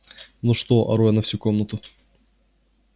ну что ору я на всю комнату